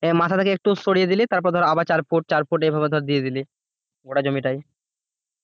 মাথা থেকে একটু সরিয়ে দিলি তারপর ধর আবার চার ফুট চার ফুট এইভাবে ধর দিয়ে দিলি গোটা জমি টাই